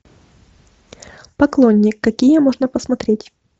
поклонник какие можно посмотреть